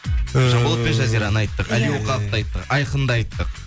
ыыы жанболат пен жазираны айттық али оқаповты айттық айқынды айттық